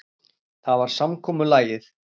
Það var samkomulagið.